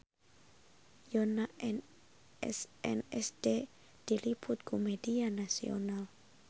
Yoona SNSD diliput ku media nasional